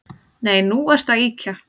Nei, nú ertu að ýkja